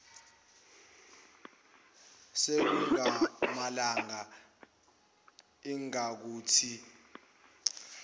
sekungamalanga ingakuthi mbibi